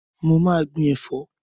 Mo ma gbin ẹ̀fọ́